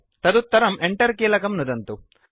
तदुत्तरं Enter कीलकं नुदन्तु